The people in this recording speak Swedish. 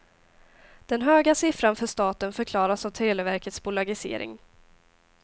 Den höga siffran för staten förklaras av televerkets bolagisering.